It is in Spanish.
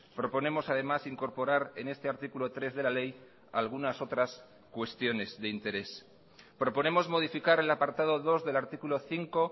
proponemos además incorporar en este artículo tres de la ley algunas otras cuestiones de interés proponemos modificar el apartado dos del artículo cinco